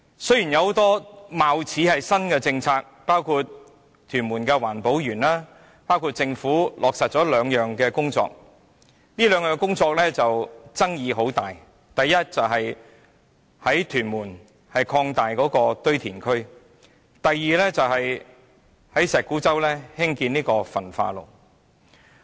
雖然有很多貌似新的政策，包括屯門環保園及落實另外兩項工作，但該兩項工作的爭議很大。該兩項工作分別是在屯門擴大堆填區及在石鼓洲興建焚化爐。